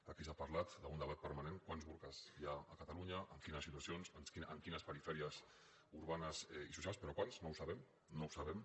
aquí s’ha parlat d’un debat permanent quants burques hi ha a catalunya en quines situacions en quines perifèries urbanes i socials però quants no ho sabem no ho sabem